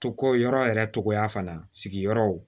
Ko yɔrɔ yɛrɛ togoya fana sigiyɔrɔw